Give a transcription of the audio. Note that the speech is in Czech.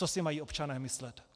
Co si mají občané myslet?